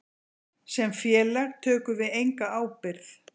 Sem félag tökum við enga ábyrgð.